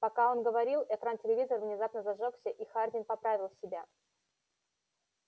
пока он говорил экран телевизора внезапно зажёгся и хардин поправил себя